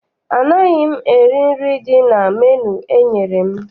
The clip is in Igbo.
Anaghị m eri nri dị na menu enyere m.